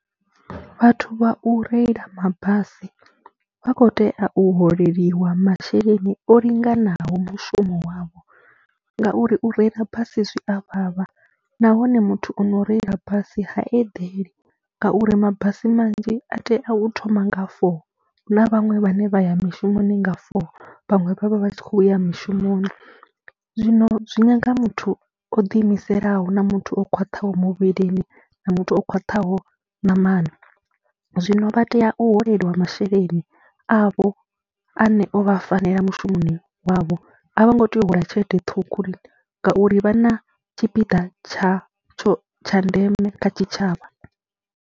Vhathu vha u reila mabasi vha khou tea u holeliwa masheleni o linganaho mushumo wavho ngauri u reila basi zwi a vhavha nahone muthu o no reila basi ha eḓeli ngauri mabasi manzhi a tea u thoma nga four, hu na vhaṅwe vhane vha ya mishumoni nga four, vhaṅwe vha vha vha tshi khou ya mishumoni. Zwino zwi nyaga muthu o ḓiimiselaho na muthu o khwaṱhaho muvhilini na muthu o khwaṱhaho ṋamani. Zwino vha tea u holeliwa masheleni avho ane o vha fanela mushumoni wavho, a vho ngo tea u hola tshelede ṱhukhu lini ngauri vha na tshipiḓa tsha tsho tsha ndeme kha tshitshavha.